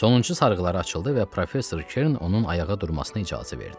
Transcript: Sonuncu sarğıları açıldı və professor Kerin onun ayağa durmasına icazə verdi.